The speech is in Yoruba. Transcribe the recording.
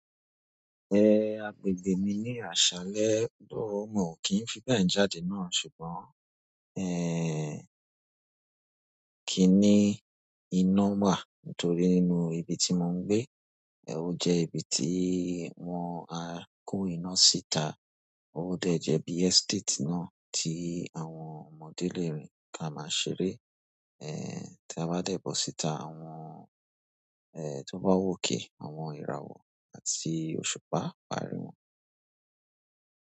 Ehn, agbègbè mi ní àṣálẹ́ oooo, mi ò kí ń fi bẹ́ẹ̀ jáde náà ṣùgbọ́n, eh, kí i ní iná wà nítorí nínú ibi tí mò ń gbé, o jẹ́ ibi tí wọ́n á kó iná síta. Tó dẹ̀ jẹ́ bí estate náà tí àwọn ọmọdé lè rìn ká máa ṣeré, eh, tí a bá dẹ̀bọ̀ síta àwọn, eh, tó bá wòkè àwọn ìràwọ̀ àti òṣùpá á parí wọn.